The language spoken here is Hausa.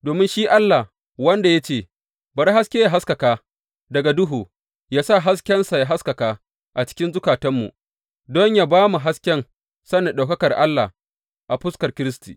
Domin shi Allah wanda ya ce, Bari haske yă haskaka daga duhu, ya sa haskensa ya haskaka a cikin zukatanmu, don yă ba mu hasken sanin ɗaukakar Allah a fuskar Kiristi.